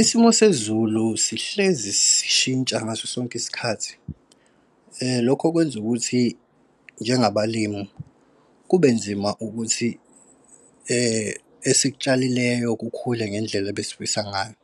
Isimo sezulu sihlezi sishintsha ngaso sonke isikhathi. Lokho kwenza ukuthi njengabalimi kube nzima ukuthi esikutshalileyo kukhule ngendlela ebesifisa ngayo.